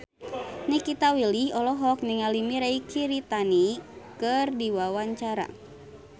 Nikita Willy olohok ningali Mirei Kiritani keur diwawancara